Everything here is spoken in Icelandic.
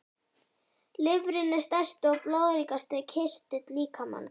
Lifrin er stærsti og blóðríkasti kirtill líkamans.